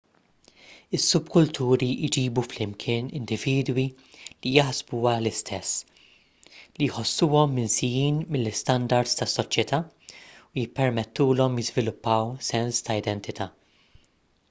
is-subkulturi jġibu flimkien individwi li jaħsbuha l-istess li jħossuhom minsijin mill-istandards tas-soċjetà u jippermettulhom jiżviluppaw sens ta' identità